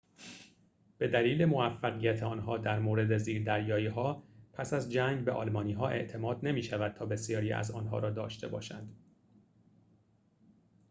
به دلیل موفقیت آنها در مورد زیردریایی‌ها پس از جنگ به آلمانی‌ها اعتماد نمی‌شود تا بسیاری از آن‌ها را داشته باشند